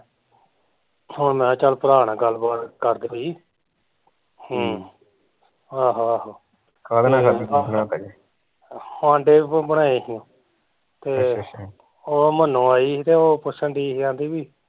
ਹੁਣ ਮੈਂ ਕਿਹਾ ਚੱਲ ਭਰਾ ਗੱਲ ਬਾਤ ਕਰਦੇ ਕੋਈ ਹਮ ਆਹੋ ਆਹੋ ਆਂਡੇ ਬਣਾਏ ਹੀ ਤੇ ਓਹ ਮੰਨੋ ਆਈ ਹੀ ਤੇ ਓਹ ਪੁੱਛਣ ਡਈ ਸੀ ਕਹਿੰਦੀ ਵੀ